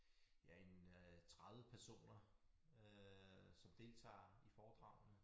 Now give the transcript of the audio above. Ja en øh 30 personer øh som deltager i foredragene